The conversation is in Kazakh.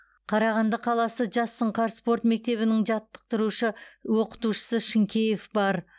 қарағанды қаласы жас сұңқар спорт мектебінің жаттықтырушы оқытушысы шынкеев бар